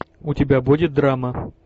у тебя будет драма